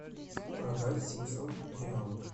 продать семьсот реалов